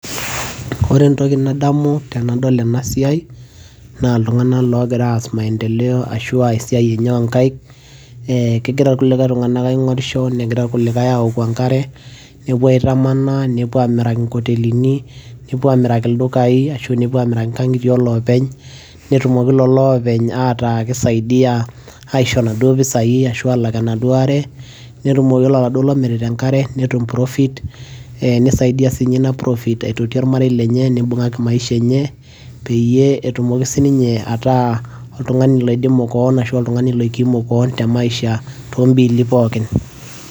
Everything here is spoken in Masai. ore entoki nadamu tenadol ena siai naa iltung'anak logira aas maendeleo ashua esiai enye onkaik ee kegira irkulikae tung'anak aing'orisho negira irkulikae awoku enkare nepuo aitamanaa nepuo amiraki inkotelini nepuo amiraki ildukai ashu nepuo amiraki inkang'itie olopeny lolo openy ataa kisaidia aisho inaduo pisai ashu alak enaduo are netumoki yiolo oladuo lomirita enkare netum profit ee nisaidia sinye ina profit aitoti ormarei lenye nibung'aki maisha enye peyie etumoki sininye ataa oltung'ani loidimu koon ashu oltung'ani loikimu koon te maisha tombili pookin.